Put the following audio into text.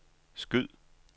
skyd